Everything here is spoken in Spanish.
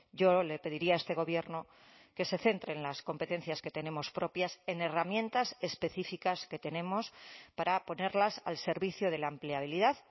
yo le pediría a este gobierno que se centre en las competencias que tenemos propias en herramientas específicas que tenemos para ponerlas al servicio de la empleabilidad